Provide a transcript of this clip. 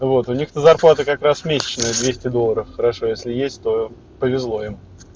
вот у них на зарплату как раз месячные двести долларов хорошо если есть то повезло им